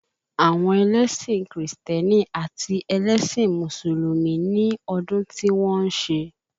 Àwọn ẹlẹ́sìn Krìstẹ́nì àti ẹlẹ́sìn Mùsùlùmí ní ọdún tí wọ́n ń ṣe